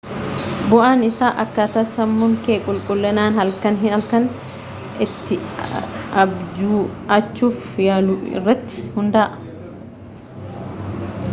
bu'aan isaa akkaataa sammuun kee qulqullinaan halkan halkan itti abju'achuuf yaalu irratti hundaa'a